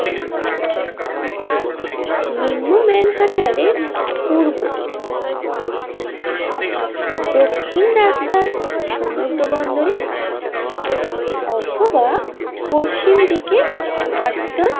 নিম্ন মানহার্টেনের পূর্ব দিকে দক্ষিণ রাস্তার সমুদ্র বন্দরের কাছে অথবা পশ্চিম দিকের হার্টসান।